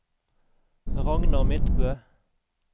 Ragnar Midtbø